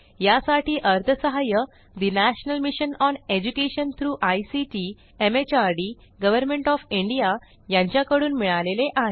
यासाठी अर्थसहाय्य national mission on education through ICT MHRD government of India यांच्याकडून मिळालेले आहे